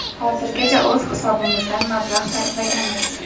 Hozirgacha o‘z hisobimizdan mablag‘ sarflaganmiz.